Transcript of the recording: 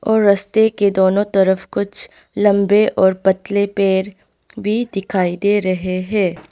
और रास्ते के दोनों तरफ कुछ लंबे और पतले पेड़ भी दिखाई दे रहे हैं।